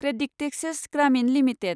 CreditAccess Grameen limited